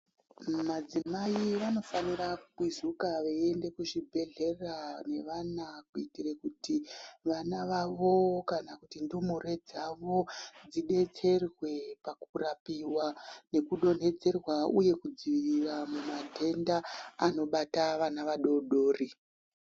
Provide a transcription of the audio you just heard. Madzimai vanofanira kukwizika veiende kuzvibhedhlera nevana. Kuitire kuti vana vavo kana kuti ndumure dzavo dzibetserwe pakurapiva nekudonhedzerwa, uye kudzirira mamadhenda anobata vana vadodori.